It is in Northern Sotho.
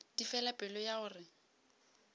di fela pelo ya gore